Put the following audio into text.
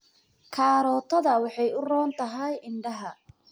Karootada waxay u roon tahay indhaha.